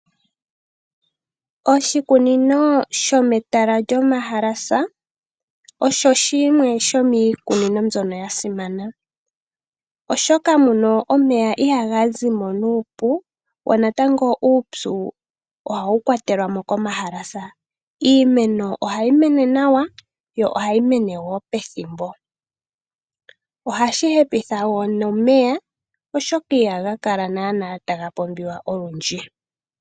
Oshikunino shometala lyomahalasa. Osho shimwe shomiikunino mbyoka yasimana. Oshoka muno omeya ihaga zimo nuupu. Wo natango uupyu ohawu kwatelwamo komahalasa. Iimeno ohayi mene nawa yo ohayi mene wo pethimbo. Ohashi hepekitha woo noneya oshoka ihaga kala nana taga pumbiwa olundji.